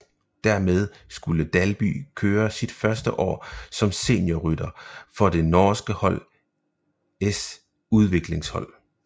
Dermed skulle Dalby kører sit første år som seniorrytter for det norske hold s udviklingshold